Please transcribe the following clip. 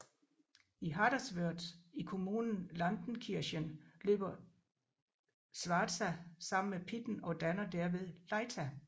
I Haderswörth i kommunen Lanzenkirchen løber Schwarza sammen med Pitten og danner derved Leitha